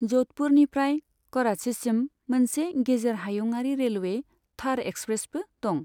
जधपुरनिफ्राय कराचिसिम मोनसे गेजेर हायुंआरि रेलवे, थर एक्सप्रेसबो दं।